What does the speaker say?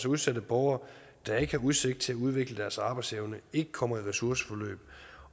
udsatte borgere der ikke har udsigt til at udvikle deres arbejdsevne ikke kommer i ressourceforløb